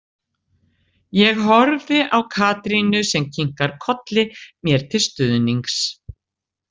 Ég horfi á Katrínu sem kinkar kolli mér til stuðnings.